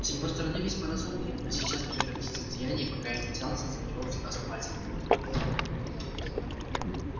с его стороны весьма разумно именно сейчас прекратить злодеяния пока я не взялся за него основательно